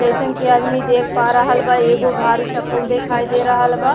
जइसन की आदमी देख पा रहल बा एगो भारी सा पुल दिखाई दे रहल बा।